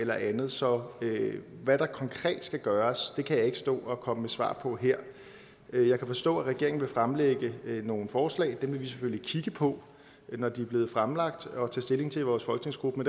eller andet så hvad der konkret skal gøres kan jeg ikke stå og komme med svar på her jeg kan forstå at regeringen vil fremlægge nogle forslag og dem vil vi selvfølgelig kigge på når de er blevet fremlagt og tage stilling til i vores folketingsgruppe